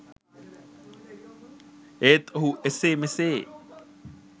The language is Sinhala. ඒත් ඔහු එසේ මෙසේ